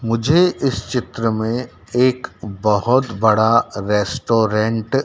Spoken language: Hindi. मुझे इस चित्र में एक बोहोत बड़ा रेस्टोरेंट --